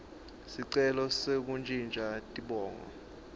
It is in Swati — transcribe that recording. sicelo sekuntjintja tibongo